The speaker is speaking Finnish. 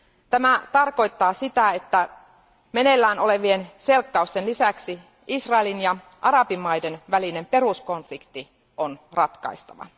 Tämä tarkoittaa sitä, että meneillään olevien selkkausten lisäksi Israelin ja arabimaiden välinen peruskonflikti on ratkaistava.